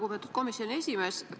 Lugupeetud komisjoni esimees!